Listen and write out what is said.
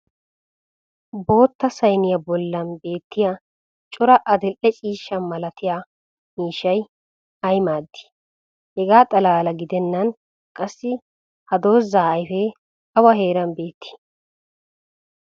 bootta saynniyaa bollan beettiya cora adil'e ciishsha malattiya miishshay ay maadii? hegaa xalaala gidennan qassi ha dozzaa ayfee awa heeran beettii?